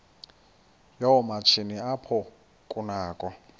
yoomatshini apho kunakho